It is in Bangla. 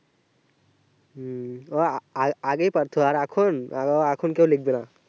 হুম ওয়া আগেই পারতো আর এখন এখন কেও লিখবেনা